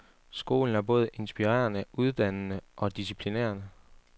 Skolen er både inspirerende, uddannende og disciplinerende.